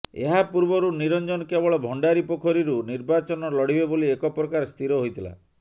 ଏହାପୂର୍ବରୁ ନିରଞ୍ଜନ କେବଳ ଭଣ୍ଡାରୀପୋଖରୀରୁ ନିର୍ବାଚନ ଲଢିବେ ବୋଲି ଏକପ୍ରକାର ସ୍ଥିର ହୋଇଥିଲା